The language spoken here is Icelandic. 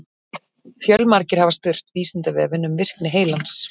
Fjölmargir hafa spurt Vísindavefinn um virkni heilans.